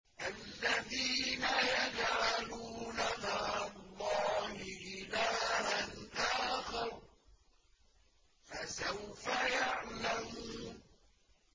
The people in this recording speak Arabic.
الَّذِينَ يَجْعَلُونَ مَعَ اللَّهِ إِلَٰهًا آخَرَ ۚ فَسَوْفَ يَعْلَمُونَ